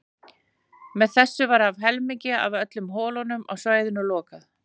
Með þessu var um helmingi af öllum holum á svæðinu lokað.